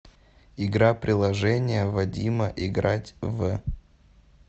игра приложение вадима играть в